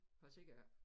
For jeg ser det ikke